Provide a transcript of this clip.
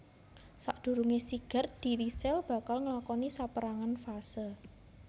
Sadurungé sigar dhiri sel bakal nglakoni sapérangan fase